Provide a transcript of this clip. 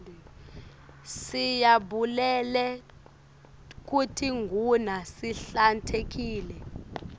siyabulele kutiguna sihlantekile